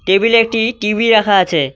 Table -এ একটি TV রাখা আছে।